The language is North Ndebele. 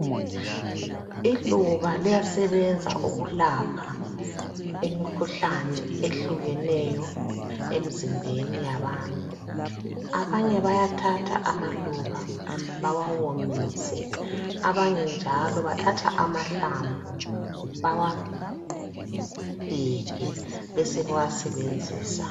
Iluba liyasebenza uku lapha imikhuhlane ehlukeneyo emizimbeni yabantu. Abanye bathatha amaluba bawawomise, abanye njalo bathatha amahlamvu bawagige besebewa sebenzisa